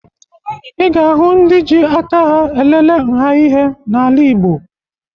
Ị ga-ahụ ndị ji aka aha elele nha ihe n'ala Igbo